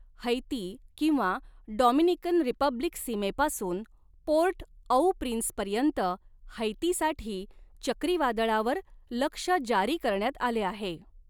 Haiti किंवा Dominican Republic सीमेपासून Port au प्रिन्सपर्यंत हैतीसाठी चक्रीवादळावर लक्ष जारी करण्यात आले आहे.